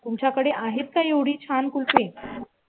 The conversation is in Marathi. तुमच्याकडे आहेत का एवढी छान कुलपे.